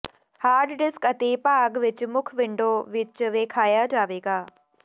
hard disk ਅਤੇ ਭਾਗ ਵਿੱਚ ਮੁੱਖ ਵਿੰਡੋ ਵਿੱਚ ਵੇਖਾਇਆ ਜਾਵੇਗਾ